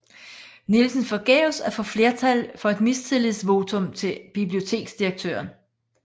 Nielsen forgæves at få flertal for et mistillidsvotum til biblioteksdirektøren